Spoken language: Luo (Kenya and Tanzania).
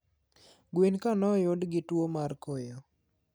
Gwen ga noyud gi tuo mar koyo